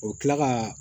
O bɛ kila ka